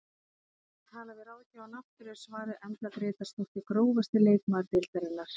Eftir að hafa talað við ráðgjafann aftur er svarið Embla Grétarsdóttir Grófasti leikmaður deildarinnar?